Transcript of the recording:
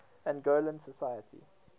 angolan society